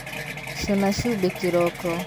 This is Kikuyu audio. Cūna cumbī kīroko.